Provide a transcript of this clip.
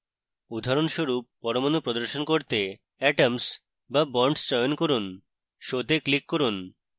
উদাহরণস্বরূপ পরমাণু প্রদর্শন করতে atoms/bonds চয়ন করুন